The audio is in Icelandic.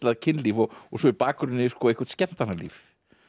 kynlíf og svo í bakgrunni eitthvert skemmtanalíf